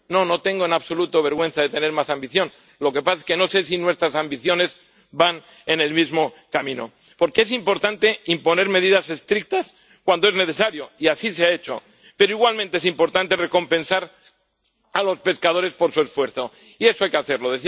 No, no tengo en absoluto vergüenza de tener más ambición. Lo que pasa es que no sé si nuestras ambiciones van en el mismo camino, porque es importante imponer medidas estrictas cuando es necesario —y así se ha hecho—, pero igualmente es importante recompensar a los pescadores por su esfuerzo, y eso hay que hacerlo.